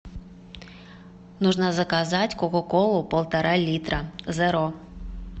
нужно заказать кока колу полтора литра зеро